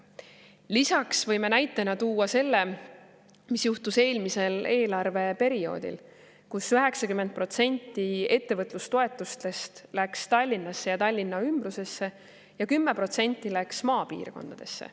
Lisaks võime näitena tuua selle, mis juhtus eelmisel eelarveperioodil, kui 90% ettevõtlustoetustest läks Tallinnasse ja Tallinna ümbrusesse ja 10% läks maapiirkondadesse.